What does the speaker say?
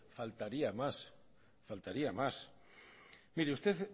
faltaría más mire usted